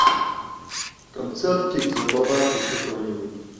концертик забабахай какой нибудь